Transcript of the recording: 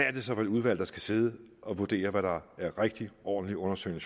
er det så for et udvalg der skal sidde og vurdere hvad der er rigtig ordentlig undersøgende